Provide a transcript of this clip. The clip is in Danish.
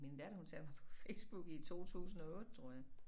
Min datter hun satte mig på Facebook i 2008 tror jeg